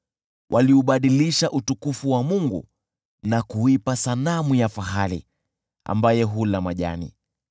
Waliubadilisha Utukufu wao kwa sanamu ya fahali, ambaye hula majani.